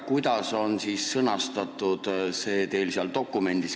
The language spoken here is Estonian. Kuidas ikkagi on see teie dokumendis sõnastatud?